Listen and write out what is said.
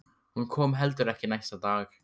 Hún kom heldur ekki næsta dag.